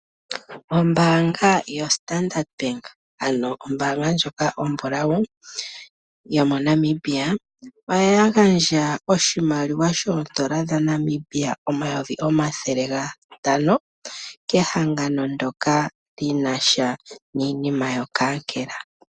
Ombanga yoStandard ano ombanga ndjoka ombulawu yoNamibia oya gandja oshimaliwa shoondola dhaNamibia omayovi omathele gatano kehangano ndoka lyinasha niinima yokankela.